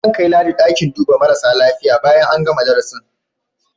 Zan kai Ladi ɗakin duba marasa lafiya bayan an gana darasin.